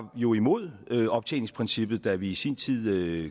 jo imod optjeningsprincippet da vi i sin tid